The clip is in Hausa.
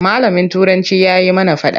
Malamin Turanci ya yi mana faɗa.